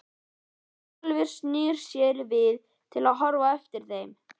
Brynjólfur snýr sér við til að horfa á eftir þeim.